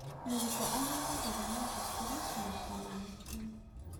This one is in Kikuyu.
Mũrutwo agĩrĩirwo gũthoma thukuru na ona mũciĩ.